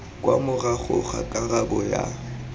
kwa morago ga karabo ya